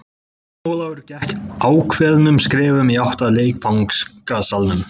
Jón Ólafur gekk ákveðnum skrefum í átt að leikfangasalnum.